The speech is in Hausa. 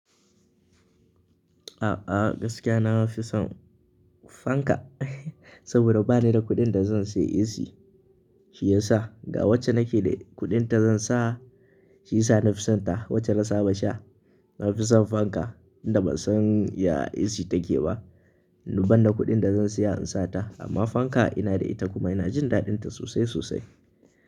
A'a gaskiya nafi son fanka, sabida bani da kuɗin da zan sayi AC shiyasa. Ga wacce nake da kuɗin ta zan sa shiyasa nafi sonta. Wacce na saba sha na fi son fanka, tinda ban san ya AC take ba. Ni ban da kuɗin da zan saya in sa ta. Amma fanka ina da ita kuma ina jin daɗin ta sosai sosai.